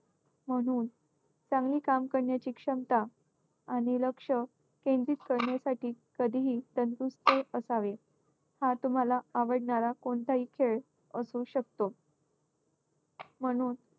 म्हणून चांगली काम करण्याची क्षमता आणि लक्ष केंद्रित करण्यासाठी कधीही तंदुरुस्त असावे. हा तुम्हाला आवडणारा कोणताही खेळ असू शकतो. म्हणून